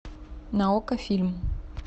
на окко фильм